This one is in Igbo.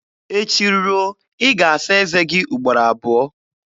Echi ruo, ị ga-asa eze gị ugboro abụọ